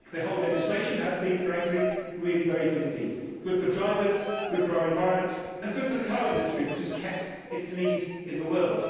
I think the whole legislation has been very good indeed good for drivers, good for our environment and good for the car industry, which has kept its lead in the world.